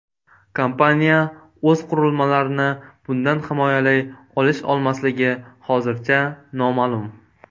Kompaniya o‘z qurilmalarini bundan himoyalay olish-olmasligi hozircha noma’lum.